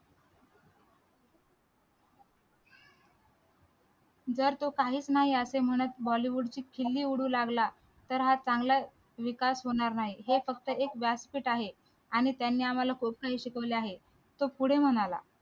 जर तो काहीच नाही असे म्हणत bollywood ची खिल्ली उडवू लागला तर हा चांगला विकास होणार नाही हे फक्त एक व्यासपीठ आहे आणि त्यांनी आम्हाला खूप काही शिकवले आहे तो पुढे म्हणाला